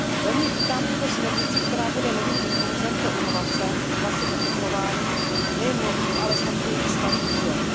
Velmi vítám tuto směrnici, která bude novým impulsem pro inovace v oblasti zateplování nejen nových, ale snad i starých budov.